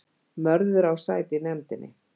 Mörður á sæti í nefndinni